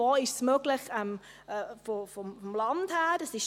Er hat geschaut, wo es vom Land her möglich ist.